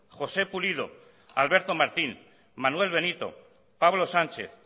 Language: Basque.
josé pulido alberto martín manuel benito pablo sánchez